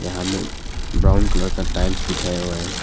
यहां में brown colour का टाइल्स बिछाया हुआ है।